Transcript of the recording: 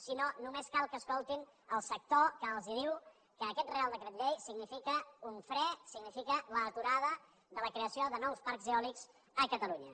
si no només cal que escoltin el sector que els diu que aquest reial decret llei significa un fre significa l’aturada de la creació de nous parcs eòlics a catalunya